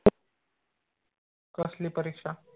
कसली परीक्षा?